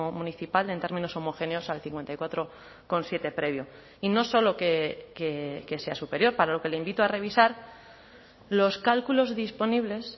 municipal en términos homogéneos al cincuenta y cuatro coma siete previo y no solo que sea superior para lo que le invito a revisar los cálculos disponibles